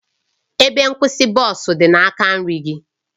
Ebe nkwụsị bọs dị n'aka nri gị